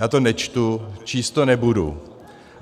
Já to nečtu, číst to nebudu.